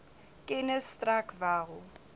kennis strek wel